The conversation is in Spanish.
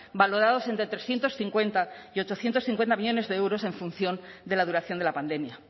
valorados entre trescientos cincuenta y ochocientos cincuenta millónes de euros en función de la duración de la pandemia